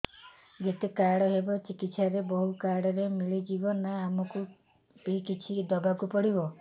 ଯେତେ ଖର୍ଚ ହେବ ଚିକିତ୍ସା ରେ ସବୁ କାର୍ଡ ରେ ମିଳିଯିବ ନା ଆମକୁ ବି କିଛି ଦବାକୁ ପଡିବ